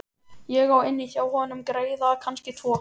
Ég á inni hjá honum greiða, kannski tvo.